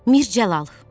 Mirzəlal.